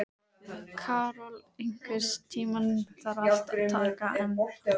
Karol, einhvern tímann þarf allt að taka enda.